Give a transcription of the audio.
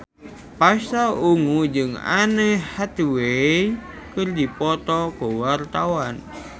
Pasha Ungu jeung Anne Hathaway keur dipoto ku wartawan